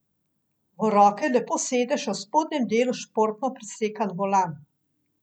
V roke lepo sede še v spodnjem delu športno prisekan volan.